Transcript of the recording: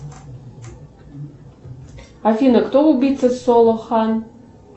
афина кто убийца солохан